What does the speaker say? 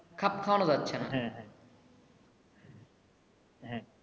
খাপ খাওয়ানো যাচ্ছে না হ্যা হ্যা।